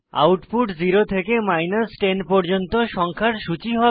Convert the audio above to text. output 0 থেকে 10 পর্যন্ত সংখ্যার সূচী হবে